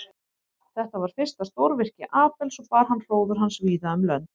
Þetta var fyrsta stórvirki Abels og bar það hróður hans víða um lönd.